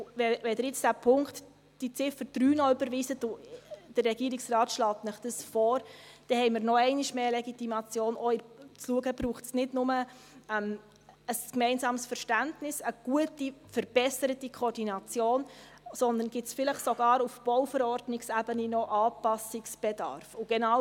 Wenn Sie nun noch Ziffer 3 überweisen – und der Regierungsrat schlägt Ihnen dies vor –, dann haben wir noch einmal eine grössere Legitimation, auch zu schauen, ob es nicht nur ein gemeinsames Verständnis und eine gute, verbesserte Koordination braucht, sondern ob es vielleicht sogar auf Ebene der Bauverordnung (BauV) noch Anpassungsbedarf gibt.